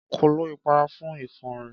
Kọ́l lọ ìpara fún ifo rẹ̀.